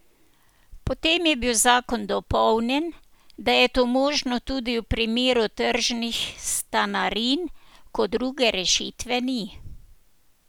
Potem je bil zakon dopolnjen, da je to možno tudi v primeru tržnih stanarin, ko druge rešitve ni.